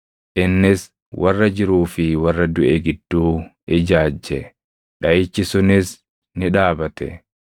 Innis warra jiruu fi warra duʼe gidduu ijaajje; dhaʼichi sunis ni dhaabate.